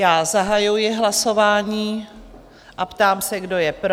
Já zahajuji hlasování a ptám se, kdo je pro?